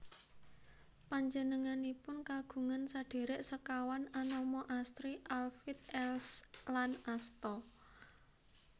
Panjenenganipun kagungan sedhèrèk sekawan anama Astri Alfhild Else lan Asta